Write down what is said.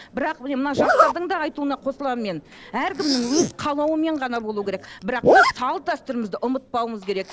бірақ міне мына жастардың да айтуына қосыламын мен әркімнің өз қалауымен ғана болу керек бірақ біз салт дәстүрімізді ұмытпауымыз керек